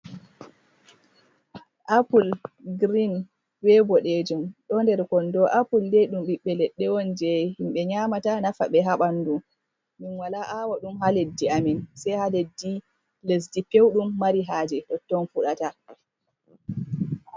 Apul, grin be boɗejum, ɗo nder kondo. Apul dei dum ɓiɓɓe leɗɗe on, je himɓe nƴamata nafa ɓe ha ɓandu. min wala awa ɗum ha leddi amin, sai ha leddi, lesdi pewɗum mari haje totton fuɗata.